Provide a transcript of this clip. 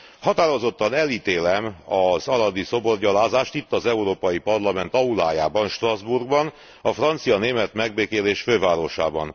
Határozottan elítélem az aradi szoborgyalázást itt, az Európai Parlament aulájában, Strasbourgban, a francia német megbékélés fővárosában.